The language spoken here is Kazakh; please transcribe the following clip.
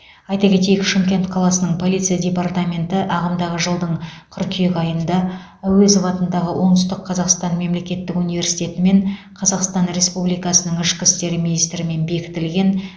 айта кетейік шымкент қаласының полиция департаменті ағымдағы жылдың қыркүйек айында әуезов атындағы оңтүстік қазақстан мемлекеттік университетімен қазақстан республикасының ішкі істер министрімен бекітілген